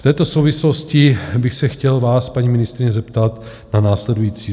V této souvislosti bych se chtěl vás, paní ministryně, zeptat na následující: